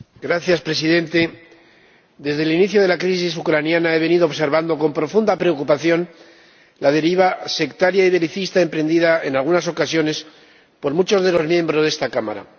Señor Presidente, desde el inicio de la crisis ucraniana he venido observando con profunda preocupación la deriva sectaria y belicista emprendida, en algunas ocasiones, por muchos de los miembros de esta Cámara.